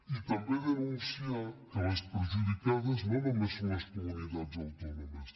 i també denunciar que les perjudicades no només són les comunitats autònomes